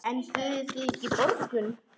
En buðuð þið ekki borgun?